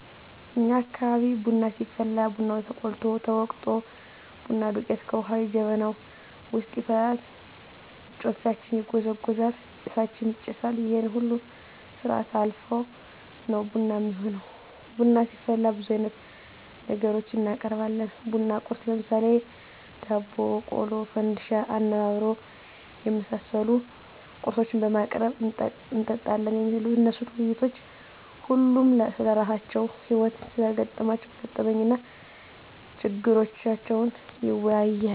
እኛ አካባቢ ቡና ሲፈላ ቡናው ተቆልቶ፣ ተወቅጦ፣ ቡና ዱቄቱ ከዉሀ ጋ ጀበናዉ ዉስጥ ይፈላል፣ ጨፌያችን ይጎዘጎዛል፣ ጭሳችን ይጨሳል ይሄን ሁሉ ስርአት አልፋ ነዉ ቡና እሚሆነዉ። ቡና ስናፈላ ብዙ አይነት ነገሮችን እናቀርባለን(ቡና ቁርስ ) ለምሳሌ፦ ዳቦ፣ ቆሎ፣ ፈንድሻ፣ አነባበሮ የመሳሰሉ ቁርሶችን በማቅረብ እንጠጣለን። የሚነሱት ዉይይቶች ሁሉም ስለራሳቸዉ ህይወት(ስለገጠማቸዉ ገጠመኝ) እና ችግራቸዉን ይወያያል፣